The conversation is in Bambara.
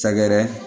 Sɛgɛrɛ